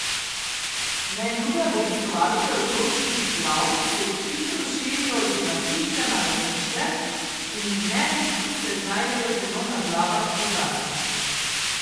Neljube obiskovalke otroških glav se hitro širijo z lasišča na lasišče in neredko se znajdejo celo na glavah odraslih.